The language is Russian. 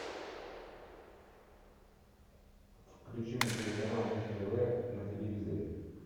включи мне телеканал муз тв на телевизоре